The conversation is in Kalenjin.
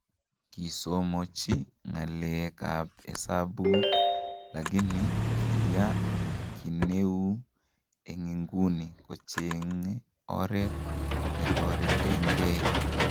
Kisomochi ngeleek ab hesabuuk lagini kiyaa kineuu en inguni kocheeng' oret netoreetengei.